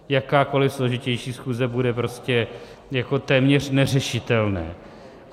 Jakákoliv složitější schůze bude prostě jako téměř neřešitelná.